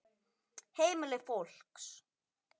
Heimili fólks.